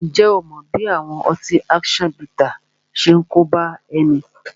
Ǹjẹ́ ó mọ bí àwọn ọtí action bittersi ṣe ń kóbá ẹni?